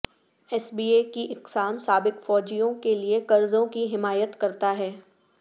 S B A کی اقسام سابق فوجیوں کے لئے قرضوں کی حمایت کرتا ہے